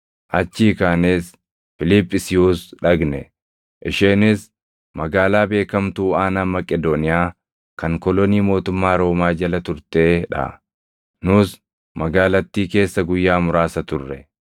Achii kaanees Fiiliphisiyuus dhaqne; isheenis magaalaa beekamtuu aanaa Maqedooniyaa kan kolonii mootummaa Roomaa jala turtee dha; nus magaalattii keessa guyyaa muraasa turre.